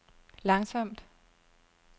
langsomt